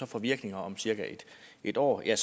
får virkning om cirka en år er